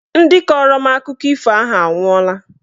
Ndị kọrọ m akụkọ ifo ahụ anwụọla